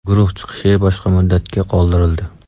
Guruh chiqishi boshqa muddatga qoldirildi.